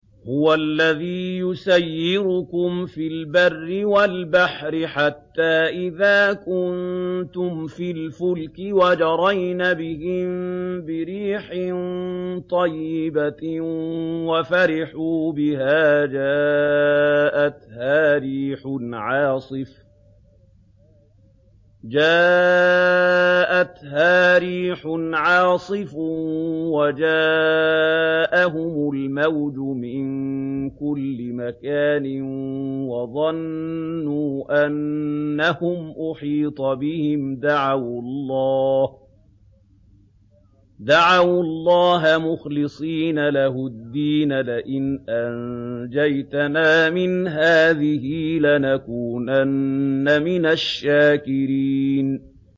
هُوَ الَّذِي يُسَيِّرُكُمْ فِي الْبَرِّ وَالْبَحْرِ ۖ حَتَّىٰ إِذَا كُنتُمْ فِي الْفُلْكِ وَجَرَيْنَ بِهِم بِرِيحٍ طَيِّبَةٍ وَفَرِحُوا بِهَا جَاءَتْهَا رِيحٌ عَاصِفٌ وَجَاءَهُمُ الْمَوْجُ مِن كُلِّ مَكَانٍ وَظَنُّوا أَنَّهُمْ أُحِيطَ بِهِمْ ۙ دَعَوُا اللَّهَ مُخْلِصِينَ لَهُ الدِّينَ لَئِنْ أَنجَيْتَنَا مِنْ هَٰذِهِ لَنَكُونَنَّ مِنَ الشَّاكِرِينَ